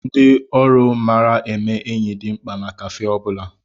Ndị ọrụ mara eme enyi dị mkpa na káfé ọ bụla